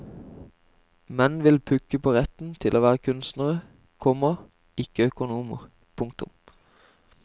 Menn vil pukke på retten til å være kunstnere, komma ikke økonomer. punktum